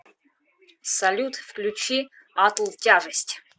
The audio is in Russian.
салют включи атл тяжесть